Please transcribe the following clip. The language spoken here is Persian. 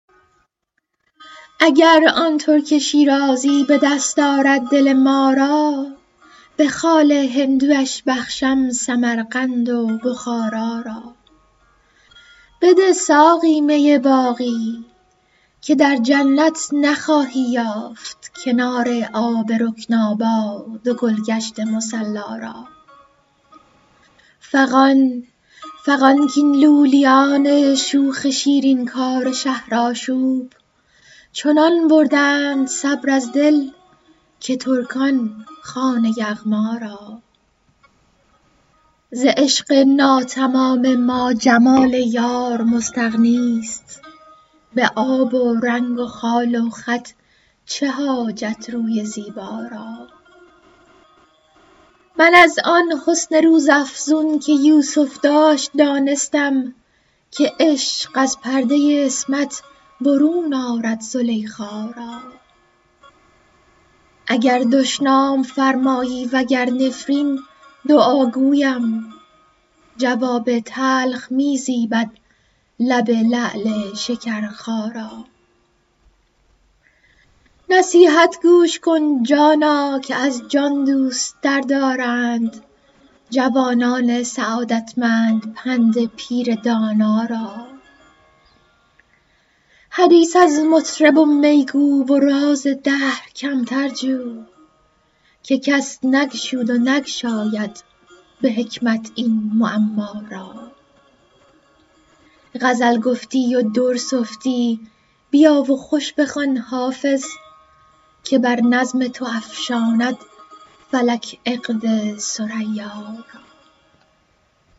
اگر آن ترک شیرازی به دست آرد دل ما را به خال هندویش بخشم سمرقند و بخارا را بده ساقی می باقی که در جنت نخواهی یافت کنار آب رکناباد و گل گشت مصلا را فغان کاین لولیان شوخ شیرین کار شهرآشوب چنان بردند صبر از دل که ترکان خوان یغما را ز عشق ناتمام ما جمال یار مستغنی است به آب و رنگ و خال و خط چه حاجت روی زیبا را من از آن حسن روزافزون که یوسف داشت دانستم که عشق از پرده عصمت برون آرد زلیخا را اگر دشنام فرمایی و گر نفرین دعا گویم جواب تلخ می زیبد لب لعل شکرخا را نصیحت گوش کن جانا که از جان دوست تر دارند جوانان سعادتمند پند پیر دانا را حدیث از مطرب و می گو و راز دهر کمتر جو که کس نگشود و نگشاید به حکمت این معما را غزل گفتی و در سفتی بیا و خوش بخوان حافظ که بر نظم تو افشاند فلک عقد ثریا را